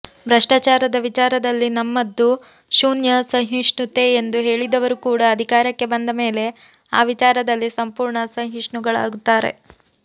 ಭ್ರಷ್ಟಾಚಾರದ ವಿಚಾರದಲ್ಲಿ ನಮ್ಮದು ಶೂನ್ಯ ಸಹಿಷ್ಣುತೆ ಎಂದು ಹೇಳಿದವರು ಕೂಡ ಅಧಿಕಾರಕ್ಕೆ ಬಂದ ಮೇಲೆ ಆ ವಿಚಾರದಲ್ಲಿ ಸಂಪೂರ್ಣ ಸಹಿಷ್ಣುಗಳಾಗುತ್ತಾರೆ